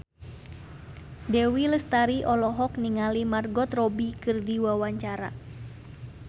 Dewi Lestari olohok ningali Margot Robbie keur diwawancara